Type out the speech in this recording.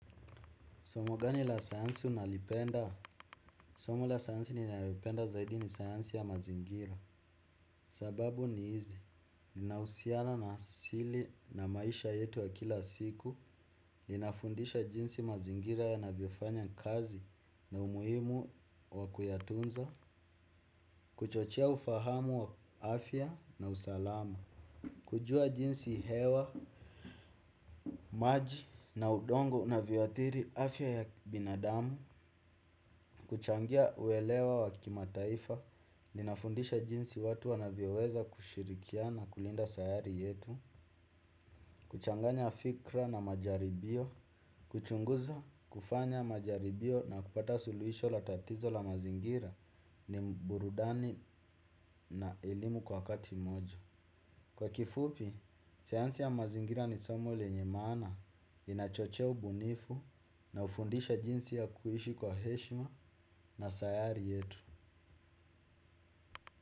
Somo gani la sayansi unalipenda? Somo la sayansi ni nalolipenda zaidi ni sayansi ya mazingira. Sababu ni hizi. Ninauhusiano na asili na maisha yetu ya kila siku. Linafundisha jinsi mazingira ya navyofanya kazi na umuhimu wakuyatunza. Kuchochea ufahamu wa afya na usalama. Kujua jinsi hewa, maji na udongo una vyoadhiri afya ya binadamu. Kuchangia uelewa wa kima taifa li nafundisha jinsi watu wanavyoweza kushirikia na kulinda sayari yetu. Kuchanganya fikra na majaribio. Kuchunguza kufanya majaribio na kupata suluhisho la tatizo la mazingira ni burudani na elimu kwa wakati mmoja. Kwa kifupi, sayansi ya mazingira ni somo lenyemaana inachochea ubunifu na hufundisha jinsi ya kuishi kwa heshima na sayari yetu.